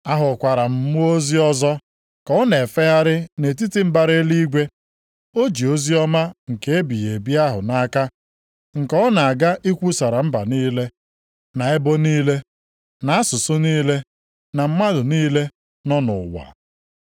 Ahụkwara m mmụọ ozi ọzọ ka ọ na-efegharị nʼetiti mbara eluigwe. O ji oziọma nke ebighị ebi ahụ nʼaka, nke ọ na-aga ikwusara mba niile, na ebo niile, na asụsụ niile na mmadụ niile nọ nʼụwa.